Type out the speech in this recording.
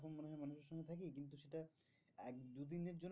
দু দিনের জন্য